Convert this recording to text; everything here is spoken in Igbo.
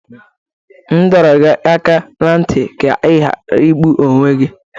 M dọrọ gị aka ná ntị ka ị ghara igbu onwe gi!